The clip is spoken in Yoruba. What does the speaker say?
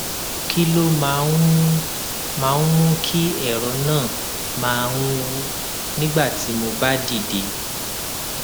kí ló máa ń mú máa ń mú kí èrọ náà máa ń wú nígbà tí mo bá dìde